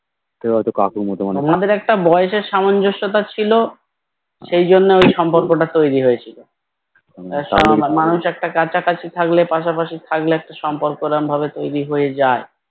তোমাদের একটা বয়সের সামঞ্জস্যতা ছিল সেই জন্য ওই সম্পর্কটা তৈরি হয়েছিল মানুষ একটা কাছ কাছি থাকলে পাশা পাশি থাকলে একটা সম্পর্ক ওরম ভাবে তৈরি হয়ে যায়